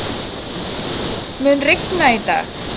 Ljósunn, mun rigna í dag?